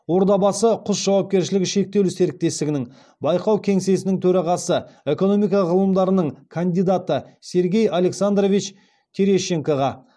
ордабасы құс жауапкершілігі шектеулі серіктестігінің байқау кеңсесінің төрағасы экономика ғылымдарының кандидаты сергей александрович терещенкоға